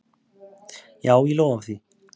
Já, ég lofa því.